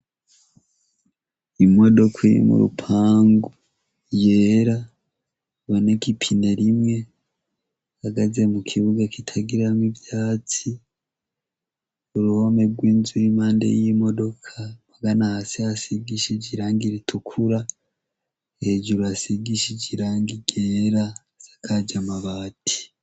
Imodoka iri murupangu yera iboneka ipine rimwe ,ihagaze mukibuga kitagiramwo ivyatsi, uruhome rw'inzu iri impande y'imodoka, hasi hasigishije irangi ritukura ,hejuru hasigishij'irangi ryera hasakaje amabati.